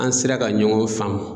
An sera ka ɲɔgɔn faamu.